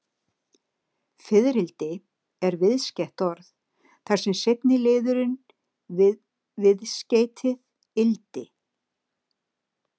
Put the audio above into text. Fiðrildi er viðskeytt orð, þar sem seinni liðurinn er viðskeytið-ildi.